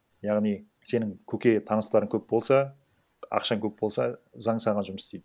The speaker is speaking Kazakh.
яғни сенің көке таныстарың көп болса ақшаң көп болса заң саған жұмыс істейді